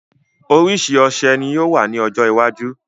Orísìí ọṣẹ ni yóò wà ní ọjọ́ iwájú